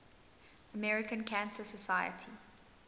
american cancer society